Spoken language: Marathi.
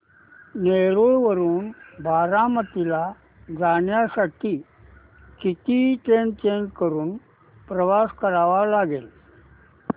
नेरळ वरून बारामती ला जाण्यासाठी किती ट्रेन्स चेंज करून प्रवास करावा लागेल